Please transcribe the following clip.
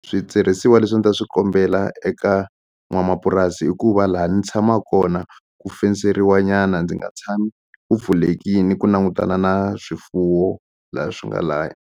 Switirhisiwa leswi a ni ta swi kombela eka n'wamapurasi i ku va la ni tshamaku kona ku fenseriwa nyana ndzi nga tshami ku pfulekini ku langutana na swifuwo la swi nga laya.